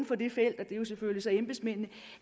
på det felt og det er selvfølgelig embedsmændene